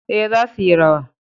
Ee, za suyi rawa.